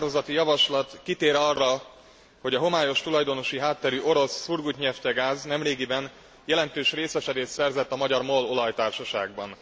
A határozati javaslat kitér arra, hogy a homályos tulajdonosi hátterű orosz Surgutneftgaz nemrégiben jelentős részesedést szerzett a magyar MOL olajtársaságban.